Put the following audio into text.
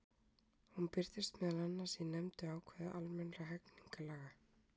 Hún birtist meðal annars í nefndu ákvæði almennra hegningarlaga.